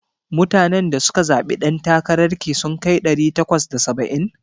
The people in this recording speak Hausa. Mutanen da suka zaɓe dan takara ki sun kai ɗari bakwai da saba'in?